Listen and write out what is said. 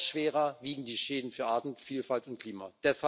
Noch schwerer wiegen die Schäden für Artenvielfalt und Klima.